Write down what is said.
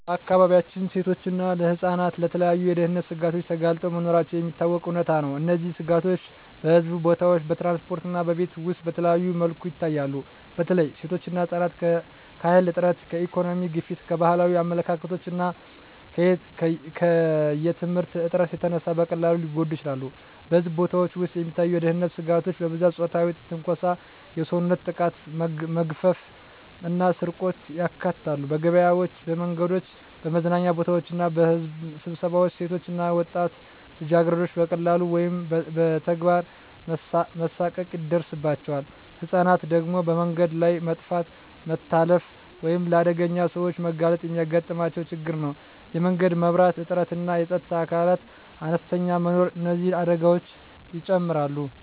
በአካባቢያችን ሴቶችና ህፃናት ለተለያዩ የደህንነት ስጋቶች ተጋልጠው መኖራቸው የሚታወቀው እውነታ ነው። እነዚህ ስጋቶች በሕዝብ ቦታዎች፣ በትራንስፖርት እና በቤት ውስጥ በተለያዩ መልኩ ይታያሉ። በተለይ ሴቶችና ህፃናት ከኃይል እጥረት፣ ከኢኮኖሚ ግፊት፣ ከባህላዊ አመለካከቶች እና ከየትምህርት እጥረት የተነሳ በቀላሉ ሊጎዱ ይችላሉ። በሕዝብ ቦታዎች ውስጥ የሚታዩ የደህንነት ስጋቶች በብዛት የፆታዊ ትንኮሳ፣ የሰውነት ጥቃት፣ መግፈፍ እና ስርቆትን ያካትታሉ። በገበያዎች፣ በመንገዶች፣ በመዝናኛ ቦታዎች እና በሕዝብ ስብሰባዎች ሴቶች እና ወጣት ልጃገረዶች በቃላት ወይም በተግባር መሳቀቅ ይደርሳባቸዋል። ህፃናት ደግሞ በመንገድ ላይ መጥፋት፣ መታለፍ ወይም ለአደገኛ ሰዎች መጋለጥ የሚያጋጥማቸው ችግር ነው። የመንገድ መብራት እጥረትና የፀጥታ አካላት አነስተኛ መኖር እነዚህን አደጋዎች ይጨምራሉ።